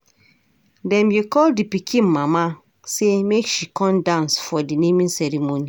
Dem go call di pikin mama sey make she come dance for di naming ceremony.